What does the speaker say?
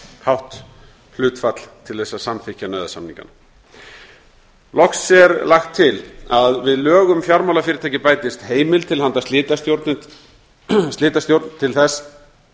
hátt hlutfall til þess að samþykkja nauðasamningana loks er lagt til að við lög um fjármálafyrirtæki bætist heimild til handa slitastjórn til þess